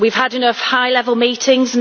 we have had enough high level meetings.